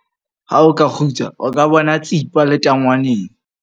Ha o ka kgutsa o ka bona tsipa letangwaneng.